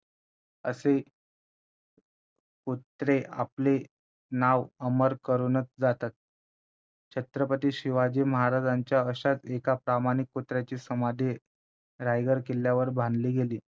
असे कुत्रे आपले नाव अमर करूनच जातात छत्रपती शिवाजी महाराजांच्या अशाच एका प्रामाणिक कुत्र्याची समाधी रायगड किल्ल्यावर बांधली गेली